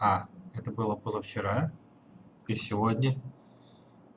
а это было позавчера и сегодня